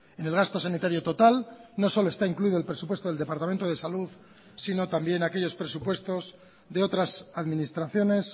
en el gasto sanitario total no solo está incluido el presupuesto del departamento de salud sino también aquellos presupuestos de otras administraciones